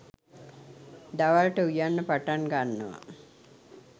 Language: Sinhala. දවල්ට උයන්න පටන්ගන්නව